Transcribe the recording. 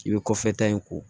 I bɛ kɔfɛ ta in ko